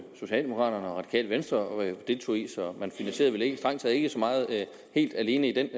socialdemokraterne og det radikale venstre deltog i så man finansierede vel strengt taget ikke så meget helt alene i den